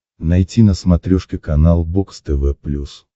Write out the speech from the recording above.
найти на смотрешке канал бокс тв плюс